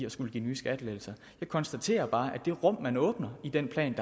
at skulle give nye skattelettelser jeg konstaterer bare at det rum man åbner i den plan